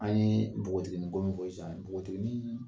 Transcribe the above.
an ye bogotigini ko min fɔ sisan bogotiginii